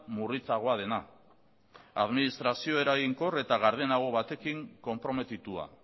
murritzagoa dena administrazio eraginkor eta gardenago batekin konprometitua